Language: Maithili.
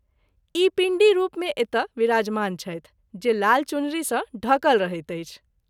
ई पींडी रूप मे एतय विराजमान छथि जे लाल चुनरी सँ ढकल रहैत अछि।